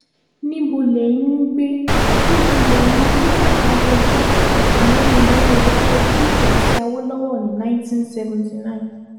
níbo lẹ́yìn ń gbé níbo lẹ́yìn nígbà tabẹjọ́ àtàwọn èèyàn rẹ̀ kọjú ìjà sí awolowo ní 1979